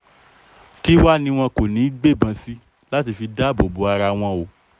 kí wàá ní wọn kò ní í gbé ìbọn sí láti fi dáàbò bo ara wọn o